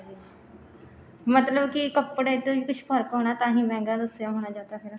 ਮਤਲਬ ਕੀ ਕੱਪੜੇ ਤੋਂ ਹੀ ਕੁੱਛ ਫਰਕ ਹੋਣਾ ਤਾਹੀਂ ਮਹਿੰਗਾ ਦੱਸਿਆ ਹੋਣਾ ਜਾਂ ਤਾਂ ਫੇਰ